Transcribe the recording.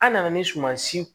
An nana ni sumansi